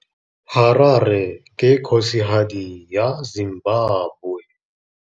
Harare ke kgosigadi ya Zimbabwe.